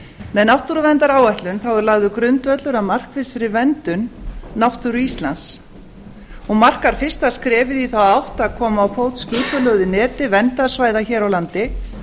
með náttúruverndaráætlun er lagður grundvöllur að markvissri verndun náttúru íslands hún markar fyrsta skrefið í þá átt að koma á fót skipulögðu neti verndarsvæða hér á landi